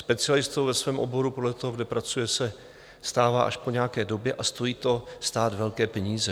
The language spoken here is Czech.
Specialistou ve svém oboru podle toho, kde pracuje, se stává až po nějaké době a stojí to stát velké peníze.